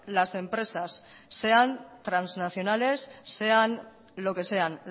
las empresas sean transnacionales sean lo que sean